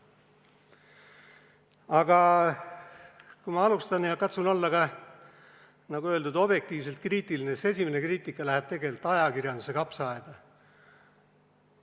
Aga kui ma katsun olla, nagu öeldud, objektiivselt kriitiline, siis esimene kriitika läheb ajakirjanduse kapsaaeda.